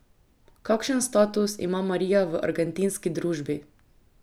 Kakšen status ima Marija v argentinski družbi?